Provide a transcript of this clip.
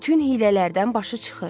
Bütün hiylələrdən başı çıxır.